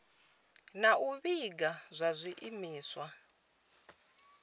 na u vhiga zwa zwiimiswa